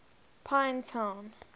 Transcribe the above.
pinetown